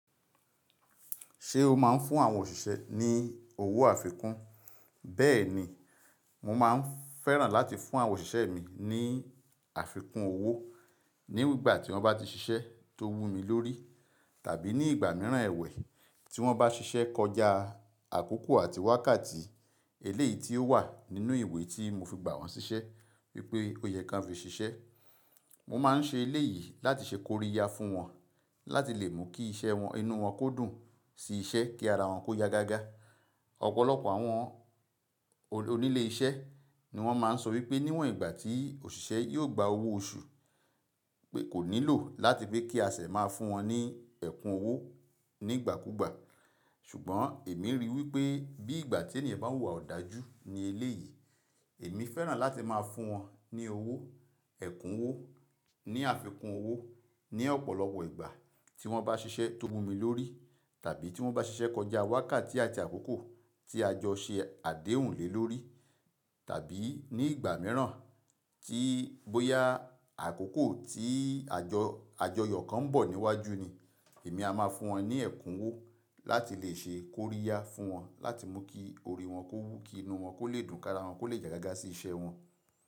Ṣé o máa ń fún àwọn òṣìṣẹ́ ní owó àfikún? Beeni mo maa n feran lati fun awon osise mi ni afikun owo nígbà tí wọ́n bá ti ṣiṣẹ́ tó wú mi lórí tàbí ní ìgbà mìíràn ẹwẹ̀ tí wọ́n bá ṣiṣẹ́ kọjá àkókò àti wákàtí eléyìí tí ó wà nínú ìwé tí mo fi gbà wọ́n ṣiṣẹ́ wípé ó yẹ kí wọ́n fi ṣiṣẹ́. Mo máa ń ṣe eléyìí láti ṣe kóríya fún wọn láti lè mu kí iṣẹ́ wọn, inú wọn kó dùn sí iṣẹ́ kí ara wọn kó ya gágá. Ọ̀pọ̀lọpọ̀ àwọn onílé iṣẹ́ ni wọ́n máa ń sọ wípé níwọ̀n ìgbà tí òṣìṣẹ́ yóò gba owó oṣù pé kò nílò láti pé kí asẹ̀ máa fún wọn ní ẹ̀kún owó nígbàkúgbà. Ṣùgbọ́n èmi ríi wípé bí ìgbà tí ènìyàn bá ń wùwà òdáajù ní eléyìí, èmi fẹ́ràn láti máa fún wọn ní owó, ẹ̀kún owó, ní àfikún owó ní ọ̀pọ̀lọpọ̀ ìgbà tí wọ́n bá ṣiṣẹ́ tó wú mi lórí tàbí tí wọ́n bá ṣiṣẹ́ kọjá wákàtí àti àkókò tí àjọ ṣe àdéhùn lé lórí tàbí ní ìgbà mìíràn tí bóyá àkókò tí àjọ, àjọyọ̀ kan ń bọ̀ níwájú ni, èmi a máa fún wọn ní ẹ̀kún owó láti lè ṣe kóríya fún wọn láti mọ̀ kí orí wọn kó wú, kí inú wọn kó lè dùn, kí ara wọn kó lè ya gágá sí iṣẹ́ wọn.